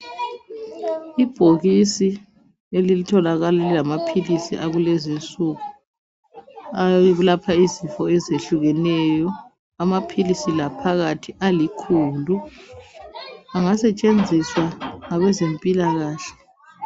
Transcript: Ibhokisi elitholakala lilamaphilisi akulezinsuku alapha izifo ezehlukeneyo . Amaphilisi la phakathi alikhulu ,angasetshenziswa ngabezempilakahle.